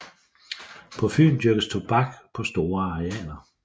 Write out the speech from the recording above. På Fyn dyrkes tobak på store arealer